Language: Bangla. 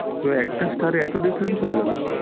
তো একটা star এ এত difference হয়ে গেল?